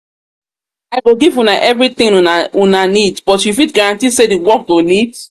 i go give una everything una need but you fit guarantee say the work go neat?